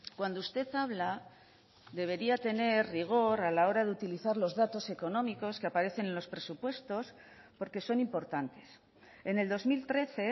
cuando usted habla debería tener rigor a la hora de utilizar los datos económicos que aparecen en los presupuestos porque son importantes en el dos mil trece